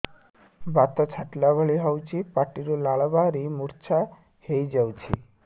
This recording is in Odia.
ବାତ ଛାଟିଲା ଭଳି ହଉଚି ପାଟିରୁ ଲାଳ ବାହାରି ମୁର୍ଚ୍ଛା ହେଇଯାଉଛି